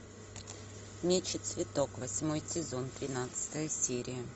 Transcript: меч и цветок восьмой сезон тринадцатая серия